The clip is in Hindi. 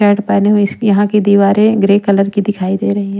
यहाँ की दीवारें ग्रे कलर की दिखाई दे रही हैं।